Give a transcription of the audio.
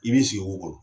I b'i sigi o kɔrɔ